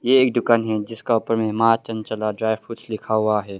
ये एक दुकान है जिसके ऊपर मां चंचला ड्राई फ्रूट्स लिखा हुआ है।